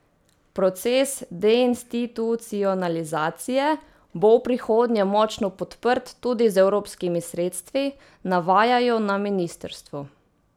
Proces deinstitucionalizacije bo v prihodnje močno podprt tudi z evropskimi sredstvi, navajajo na ministrstvu.